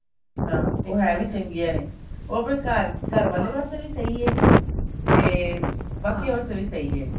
ਹਾਂ ਉਹ ਹੈ ਵੀ ਚੰਗੀਆਂ ਨੇ ਉਹ ਫ਼ੇਰ ਘਰ ਘਰ ਵਾਲੈ ਪਾਸੇ ਵੀ ਸਹੀ ਹੈ ਤੇ ਬਾਕੀ ਵਾਸਤੇ ਵੀ ਸਹੀ ਹੈ